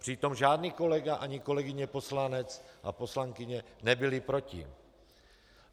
Přitom žádný kolega ani kolegyně poslanec a poslankyně nebyli proti.